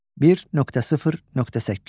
1.0.8.